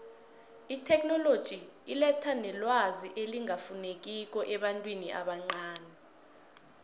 itheknoloji iletha nelwazi elingafinekiko ebantwini abancani